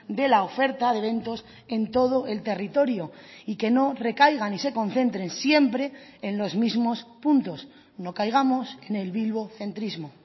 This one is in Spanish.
de la oferta de eventos en todo el territorio y que no recaigan y se concentren siempre en los mismos puntos no caigamos en el bilbocentrismo